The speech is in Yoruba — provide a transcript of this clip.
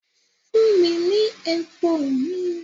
Fun mi ni epo mi!